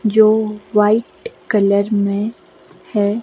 जो white colour में है।